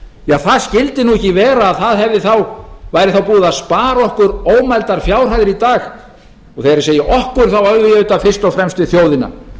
ja það skyldi nú ekki vera að það væri þá búið að spara okkur ómældar fjárhæðir í dag og þegar ég segi okkur þá á ég auðvitað fyrst og fremst við þjóðina